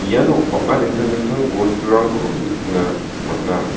iano bang·a dingtang dingtang bosturangko nikna man·a.